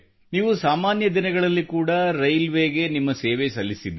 ಒಳ್ಳೆಯದು ಶಿರೀಷಾ ಅವರೆ ನೀವು ಸಾಧಾರಣ ದಿನಗಳಲ್ಲಿ ಕೂಡಾ ರೈಲ್ವೇಗೆ ನಿಮ್ಮ ಸೇವೆ ಸಲ್ಲಿಸಿದ್ದೀರಿ